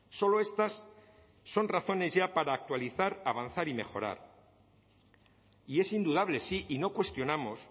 solo estas son razones ya para actualizar avanzar y mejorar y es indudable sí y no cuestionamos